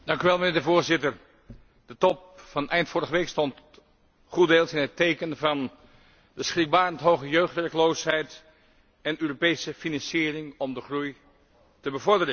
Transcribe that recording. Voorzitter, de Top van eind vorige week stond goeddeels in het teken van de schrikbarend hoge jeugdwerkloosheid en Europese financiering om de groei te bevorderen.